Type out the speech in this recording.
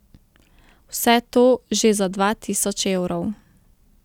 Vse to že za dva tisoč evrov.